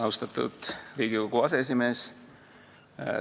Austatud Riigikogu aseesimees!